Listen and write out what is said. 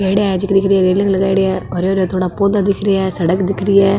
पेड़ीया है जेके दिख रही हैं रेलिंग लगाईडी है और हरे हरे थोड़ा पौधा दिख रिया है सड़क दिख रि है।